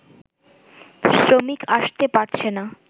শ্রমিক আসতে পারছেনা